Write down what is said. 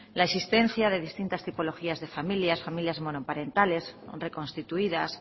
la existencia de distintas tipologías de familias familias monoparentales reconstituidas